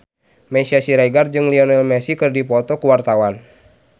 Meisya Siregar jeung Lionel Messi keur dipoto ku wartawan